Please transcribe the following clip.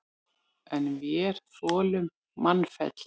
En vér þolum mannfelli.